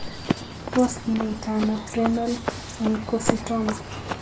Tos kinaita ano Renal Oncocytoma?